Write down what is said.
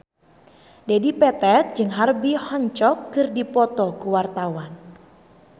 Dedi Petet jeung Herbie Hancock keur dipoto ku wartawan